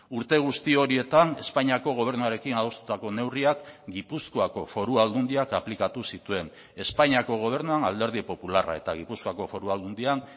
urte guzti horietan espainiako gobernuarekin adostutako neurriak gipuzkoako foru aldundiak aplikatu zituen espainiako gobernuan alderdi popularra eta gipuzkoako foru aldundian